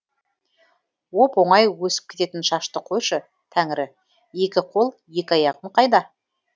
оп оңай өсіп кететін шашты қойшы тәңірі екі қол екі аяғым қайда